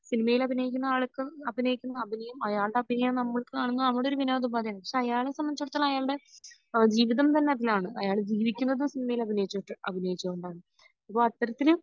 സിനിമയിൽ അഭിനയിക്കുന്ന ആൾക്കും അഭിനയിക്കുന്ന അഭിനയം അയാളുടെ അഭിനയം നമ്മൾക് കാണുന്നെ നമ്മളുടെ ഒരു വിനോദോപാധിയാണ് പക്ഷെ അയാളെ സംബന്ധിച്ചടുത്തോളം അയാളുടെ ജീവിതം തന്നെ അതിലാണ് അയാൾ ജീവിക്കുന്നത് സിനിമയിൽ അഭിനയിച്ചിട്ട് അഭിനയിച്ചു കൊണ്ടാണ് അപ്പൊ അത്തരത്തിൽ